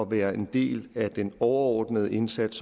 være en del af den overordnede indsats